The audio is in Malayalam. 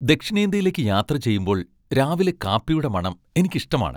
ദക്ഷിണേന്ത്യയിലേക്ക് യാത്ര ചെയ്യുമ്പോൾ രാവിലെ കാപ്പിയുടെ മണം എനിക്കിഷ്ടമാണ്.